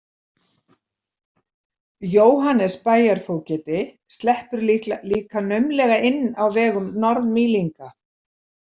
Jóhannes bæjarfógeti sleppur líka naumlega inn á vegum Norð- Mýlinga.